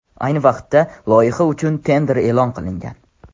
Ayni vaqtda loyiha uchun tender e’lon qilingan.